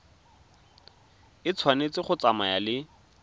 e tshwanetse go tsamaya le